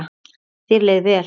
Þér leið vel.